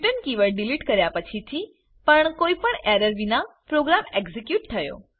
keyword delete કર્યા પછી થી પણ કોઈ પણ એરર વિના પ્રોગ્રામ એક્ઝીક્યુટ થયો